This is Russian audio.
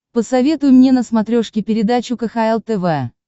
посоветуй мне на смотрешке передачу кхл тв